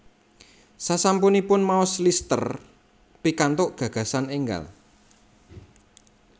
Sasampunipun maos Lister pikantuk gagasan enggal